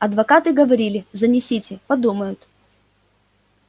адвокаты говорили занесите подумают